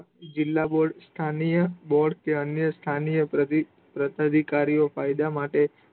જિલ્લા board સ્થાનીય board કે સ્થાનીય પ્રધિ પ્રતાધિકારીઓ ફાયદા માટે